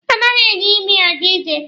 Anaghị eji imi aga ije.